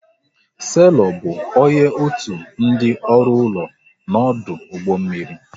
Selọ bụ onye otu ndị ọrụ ụlọ n'ọdụ ụgbọ mmiri